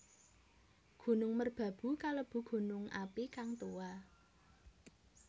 Gunung Merbabu kalebu gunung api kang tuwa